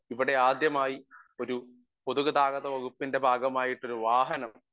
speaker 1 ഇവിടെ ആദ്യമായി ഒരു പൊതുഗതാഗത വകുപ്പിൻ്റെ ഭാഗമായിട്ടൊരു വാഹനം